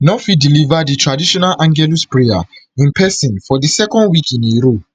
no fit deliver di traditional angelus prayer in pesin for di second week in a row